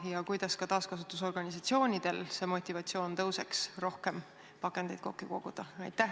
Ja kuidas tõuseks ka taaskasutusorganisatsioonide motivatsioon rohkem pakendeid kokku koguda?